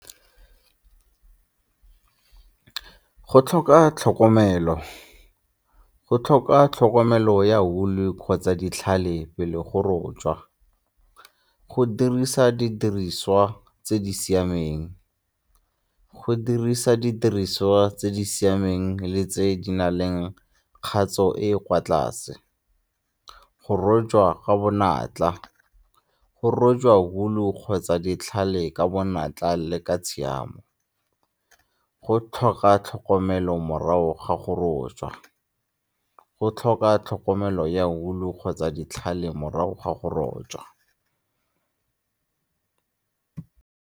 Go tlhoka tlhokomelo, go tlhoka tlhokomelo ya woo-u kgotsa ditlhale pele go rojwa. Go dirisa didiriswa tse di siameng, go dirisa ditiriso tse di siameng le tse di na leng kgatso e e kwa tlase. Go rojwa ka bonatla go rojwa wool-u kgotsa ditlhale ka bonatla le ka tshiamo. Go tlhoka tlhokomelo morago ga go rojwa, go tlhoka tlhokomelo ya wool-u kgotsa ditlhale morago ga go rojwa.